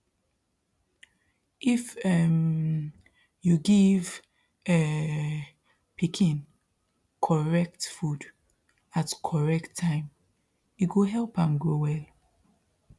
if um you give um pikin correct food at correct time e go help am grow well